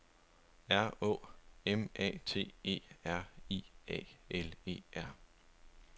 R Å M A T E R I A L E R